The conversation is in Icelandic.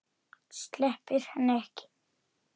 Sleppir henni ekki.